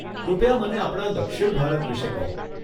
કૃપયા મને આપણા દક્ષિણ ભારત વિષે કહો.